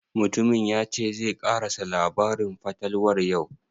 Mutumin ya ce zai ƙarasa labarin fatalwar yau?